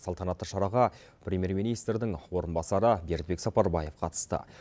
салтанатты шараға премьер министрдің орынбасары бердібек сапарбаев қатысты